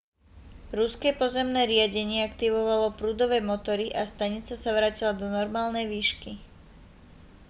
ruské pozemné riadenie aktivovalo prúdové motory a stanica sa vrátila do normálnej výšky